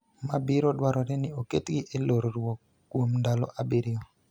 ma biro dwarore ni oketgi e lorruok kuom ndalo abiriyo.